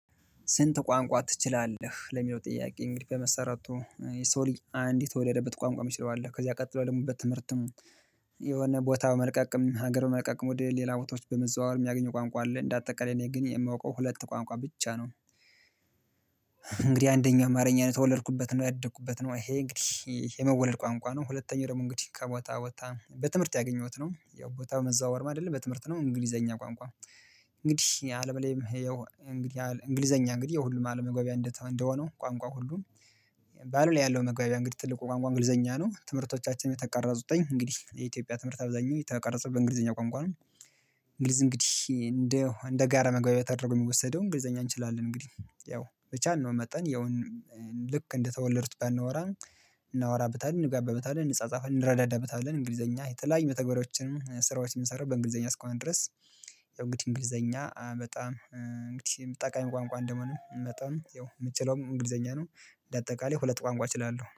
ስንት? ቋንቋ ትችላለህ ለሚለው ጥያቄ እንግዲህ በመሰረቱ የሰው ልጅ አንድ የተወለደበት ቋንቋ እሚችለው አለ ከዚያ ቀጥሎ ደግሞ በትምህርትም የሆነ ቦታው በመልቀቅም ሀገር በመልቀቅም ወደ ሌላ ቦታዎች በመዘዋወር የሚያገኘው ቋንቋ አለ እንዳጠቃላይ እኔ ግን የማውቀው ሁለት ቋንቋ ብቻ ነው። እንግዲህ አንደኛ አማርኛ ነው የተወለድኩበት ነው ያደኩበት ነው ይሄ እንግዲህ የመወለድ ቋንቋ ነው። ሁለተኛው ደግሞ እንግዲህ ከቦታ ከቦታ ቦታ በትምህርት ያገኘሁት ነው ያው ቦታ መዘዋወርም አይደለም በትምህርት ነው እንግሊዘኛ ቋንቋ። እንግዲህ አለበለይም እንግዲህ እንግሊዘኛ እንግዲህ የሁሉም አለም መግባቢያ እንደሆነው ቋንቋ። ባለም ላይ ያለው መግባቢያ እንግዲህ ትልቁ ቋንቋ እንግሊዘኛ ነው። ትምህርቶቻችን የተቀረጹትኝ እንግዲህ የኢትዮጵያ ትምህርት አብዛኛው የተቀረጸው በእንግሊዘኛ ቋንቋ ነው። እንግሊዝ እንግዲህ እንደ እንደ ጋራ መግባቢያ ተደርጎ የሚወሰደው እንግሊዘኛ እንችላለን እንግዲህ ያው ብቻልነው መጠን ያው ልክ እንደተወለዱት ባናወራው። እናወራበታለን እንግባበታለን እንጻጻፍለን እንረዳዳበታለን እንግሊዘኛ የተለያዩ መተግበሪያዎችን ስራዎችንም እምንሰራው በእንግሊዘኛ እስከሆነ ድረስ። ያው እንግዲህ እንግሊዘኛ በጣም እንግዲህ ጠቃሚ ቋንቋ እንደምሆኑ መጠን የምችለው እንግሊዘኛ ነው። እንደአጠቃላይ ሁለት ቋንቋ እችላለሁ